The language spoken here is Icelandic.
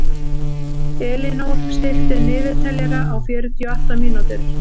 Elínór, stilltu niðurteljara á fjörutíu og átta mínútur.